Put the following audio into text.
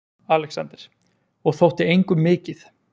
ALEXANDER: Og þótti engum mikið.